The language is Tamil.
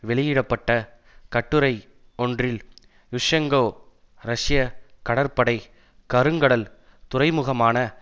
வெளியிட பட்ட கட்டுரை ஒன்றில் யுஷ்செங்கோ ரஷ்யா கடற்படை கருங்கடல் துறைமுகமான